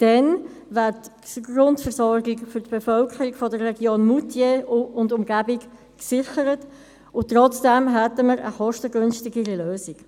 Dann wäre die Grundversorgung für die Bevölkerung der Region Moutier und deren Umgebung gesichert, und wir hätten eine kostengünstige Lösung.